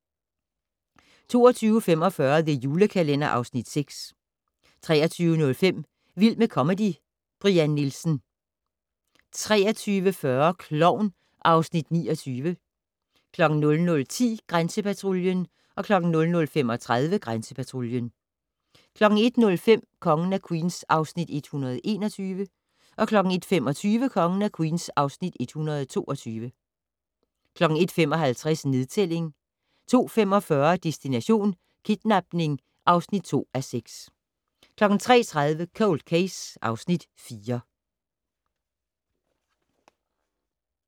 22:45: The Julekalender (Afs. 6) 23:05: Vild med comedy 2 - Brian Nielsen 23:40: Klovn (Afs. 29) 00:10: Grænsepatruljen 00:35: Grænsepatruljen 01:05: Kongen af Queens (Afs. 121) 01:25: Kongen af Queens (Afs. 122) 01:55: Nedtælling 02:45: Destination: Kidnapning (5:6) 03:30: Cold Case (Afs. 4)